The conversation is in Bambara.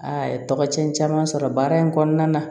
A ye tɔgɔ cɛn caman sɔrɔ baara in kɔnɔna na